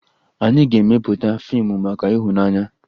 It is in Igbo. Anyị ga-emepụta fiimu maka ịhụnanya